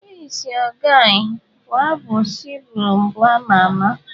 Who is your guy' bụ abụ Spyro mbụ ama ama.